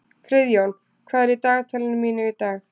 Friðjón, hvað er í dagatalinu mínu í dag?